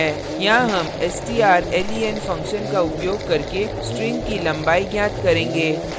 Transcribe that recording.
यहाँ हम strlen function का उपयोग करके string की लंबाई ज्ञात करेंगे